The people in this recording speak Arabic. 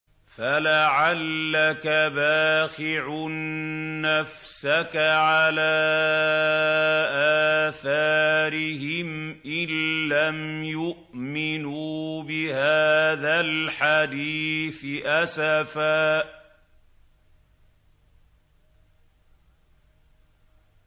فَلَعَلَّكَ بَاخِعٌ نَّفْسَكَ عَلَىٰ آثَارِهِمْ إِن لَّمْ يُؤْمِنُوا بِهَٰذَا الْحَدِيثِ أَسَفًا